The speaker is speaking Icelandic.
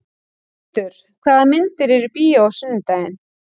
Hildur, hvaða myndir eru í bíó á sunnudaginn?